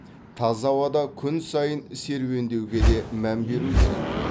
таза ауада күн сайын серуендеуге де мән беру керек